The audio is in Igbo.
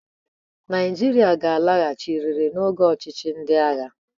Naịjirịa ga-alaghachiriri n'oge ọchịchị ndị agha.